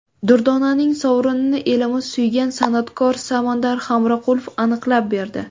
Durdonaning sovrinini elimiz suygan san’atkor Samandar Hamroqulov aniqlab berdi.